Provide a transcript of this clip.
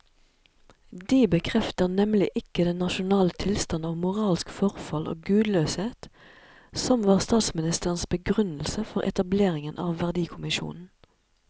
De bekrefter nemlig ikke den nasjonale tilstand av moralsk forfall og gudløshet som var statsministerens begrunnelse for etableringen av verdikommisjonen.